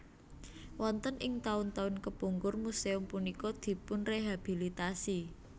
Wonten ing taun taun kepungkur muséum punika dipunrehabilitasi